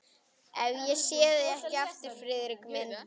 Ef ég sé þig ekki aftur, Friðrik minn.